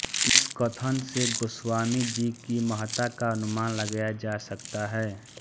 इस कथन से गोस्वामी जी की महत्ता का अनुमान लगाया जा सकता है